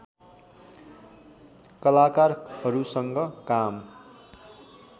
कलाकारहरूसँग काम